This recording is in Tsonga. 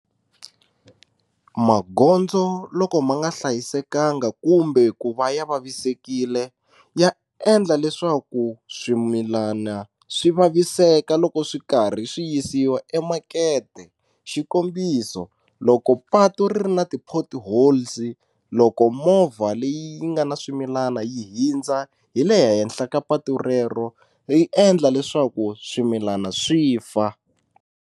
Magondzo loko ma nga hlayisekanga kumbe ku va ya vavisekile ya endla leswaku swimilana swi vaviseka loko swi karhi swi yisiwa emakete xikombiso, loko patu ri ri na ti-potholes loko movha leyi nga na swimilana yi hindza hi le henhla ka patu rero ri endla leswaku swimilana swi fa.